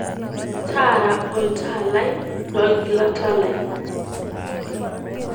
taara oltaa lai lo ilgilata lai